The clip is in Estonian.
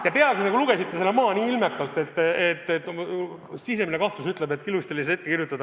Te peaaegu nagu lugesite selle maha nii ilmekalt, et sisemine kahtlus ütleb, et see oli teile ette kirjutatud.